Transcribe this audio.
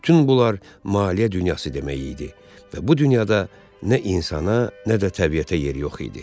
Bütün bunlar maliyyə dünyası demək idi və bu dünyada nə insana, nə də təbiətə yer yox idi.